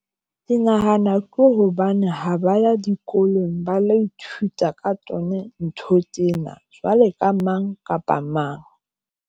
Ke nahana ke hobane ha ba ya dikolong ba lo ithuta ka tsona ntho tsena jwale ka mang kapa mang.